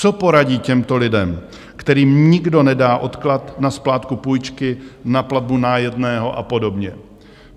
Co poradí těmto lidem, kterým nikdo nedá odklad na splátku půjčky, na platbu nájemného a podobně.